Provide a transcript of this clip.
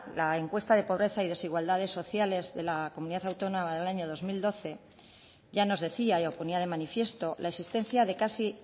la encuesta de pobreza y desigualdades sociales de la comunidad autónoma en el año dos mil doce ya nos decía y lo ponía de manifiesto la existencia de casi